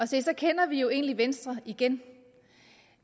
så så kender vi egentlig venstre igen